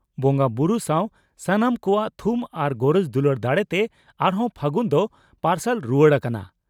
ᱵᱚᱸᱜᱟᱵᱩᱨᱩ ᱥᱟᱣ ᱥᱟᱱᱟᱢ ᱠᱚᱣᱟᱜ ᱛᱷᱩᱢ ᱟᱨ ᱜᱚᱨᱚᱡᱽ ᱫᱩᱞᱟᱹᱲ ᱫᱟᱲᱮᱛᱮ ᱟᱨᱦᱚᱸ ᱯᱷᱟᱹᱜᱩᱱ ᱫᱚ ᱯᱟᱨᱥᱟᱞ ᱨᱩᱣᱟᱹᱲ ᱟᱠᱟᱱᱟ ᱾